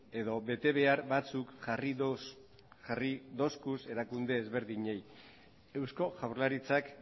edo betebehar batzuk jarri dizkie erakunde ezberdinei eusko jaurlaritzari